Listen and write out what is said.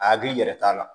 A hakili yɛrɛ t'a la